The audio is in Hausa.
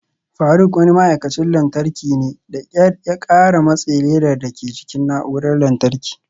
Faruk wani ma'aikacin lantarki ne, da kyar ya kara matse ledar dake jikin na'urar lantarki.